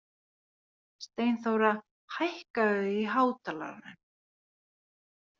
Steinþóra, lækkaðu í hátalaranum.